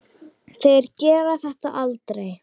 Þeir gera þetta aldrei.